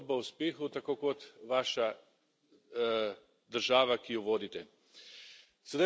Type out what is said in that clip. Ste zgodba o uspehu, tako kot vaša država, ki jo vodite.